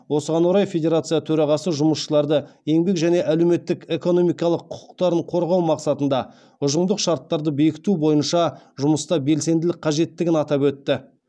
осыған орай федерация төрағасы жұмысшыларды еңбек және әлеуметтік экономикалық құқықтарын қорғау мақсатында ұжымдық шарттарды бекіту бойынша жұмыста белсенділік қажеттігін атап өтті